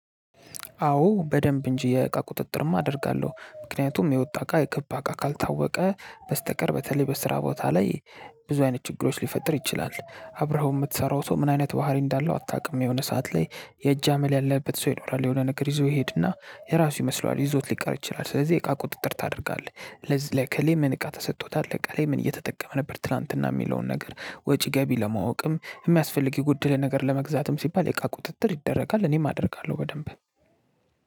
አዎ በደንብ እንጂ የእቃ ቁጥጥርም አደርጋለሁ ምክንያቱም የወጣ እቃ የገባ እቃ ካልታወቀ በስተቀር በተለይ በስራ ቦታ ላይ ብዙ አይነት ችግሮች ሊፈጥር ይችላል። አብረኸው የምትሰራው ሰው ምን አይነት ባህሪ እንዳለው አታውቅም። የሆነ ሰዓት ላይ የእጅ አመል ያለበት ሰው ይኖራል የሆነ ነገር ይዞ ይሄድና የራሱ ይመስለዋል ይዞት ሊቀር ይችላል። ስለዚህ የእቃ ቁጥጥር ታደርጋለህ። ለዚህ ላይ ከከሌ ምን እቃ ተሰጥቶታል እቃ ላይ ምን እየተጠቀመ ነበር ትላንትና የሚለውን ነገር ወጪ ገቢ ለማወቅም የሚያስፈልግ የጎድል ነገር ለመግዛትም ሲባል የእቃ ቁጥጥር ይደረጋል። እኔም አደርጋለሁ በደንብ።